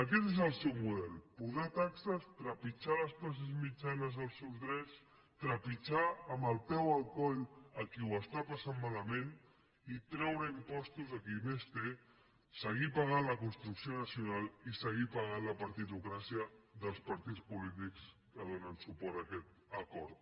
aquest és el seu model posar taxes trepitjar les classes mitjanes els seus drets trepitjar amb el peu el coll a qui ho està passant malament i treure impostos a qui més té seguir pagant la construcció nacional i seguir pagant la partitocràcia dels partits polítics que donen suport a aquest acord